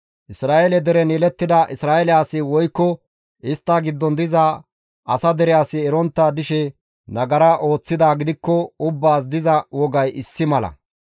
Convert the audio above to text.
Isra7eele deren yelettida Isra7eele asi woykko istta giddon diza asa dere asi erontta dishe nagara ooththidaa gidikko ubbaas diza wogay issi mala.